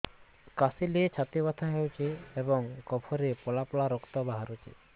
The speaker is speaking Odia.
କାଶିଲେ ଛାତି ବଥା ହେଉଛି ଏବଂ କଫରେ ପଳା ପଳା ରକ୍ତ ବାହାରୁଚି